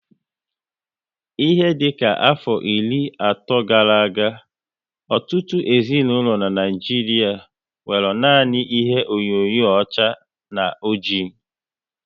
Ihe dịka afọ iri ato gara aga, ọtụtụ ezinaụlọ n'Naijiria nwéré nanị ihe onyinyo ọcha na ọjị